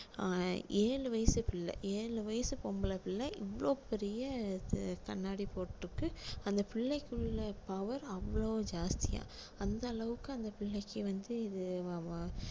அஹ் ஏழு வயசு பிள்ளை ஏழு வயசு பொம்பளை பிள்ளை இவ்வளவு பெரிய ச~ கண்ணாடி போட்டிருக்கு அந்த பிள்ளைக்குள்ள power அவ்ளோ ஜாஸ்தியா அந்த அளவுக்கு அந்த பிள்ளைக்கு வந்து இது